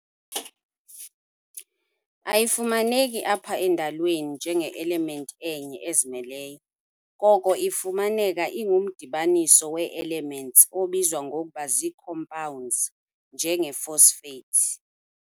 Ayifumaneki apha endalweni njenge-element enye ezimeleyo, koko ifumaneka ingumdibaniso wee-elements obizwa ngokuba zii-compounds, njenge-phosphates.